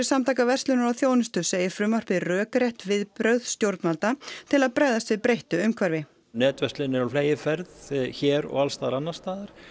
Samtaka verslunar og þjónustu segir frumvarpið rökrétt viðbrögð stjórnvalda til að bregðast við breyttu umhverfi netverslun er á fleygiferð hér og alls staðar annars staðar